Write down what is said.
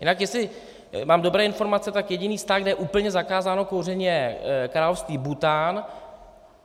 Jinak jestli mám dobré informace, tak jediný stát, kde je úplně zakázáno kouření, je království Bhútán.